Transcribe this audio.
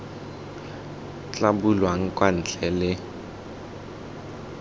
tla bulwang kwa ntle le